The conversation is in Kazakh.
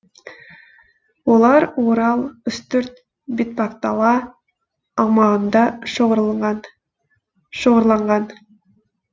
олар орал үстірт бетпақдала аумағында шоғырланған